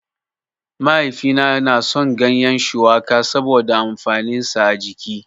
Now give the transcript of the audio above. Mahaifina na son gyanyen shuwaka saboda amfanin sa a jiki